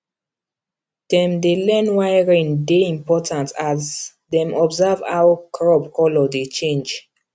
dem dey learn why rain dey important as dem observe how crop colour dey change